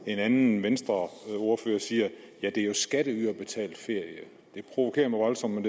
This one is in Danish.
en anden venstreordfører siger at det jo er skatteyderbetalt ferie det provokerer mig voldsomt men